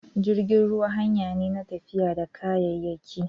Jirgin ruwa hanyane na tafiya da kayayyaki